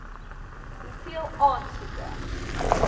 hoeveel aansoeke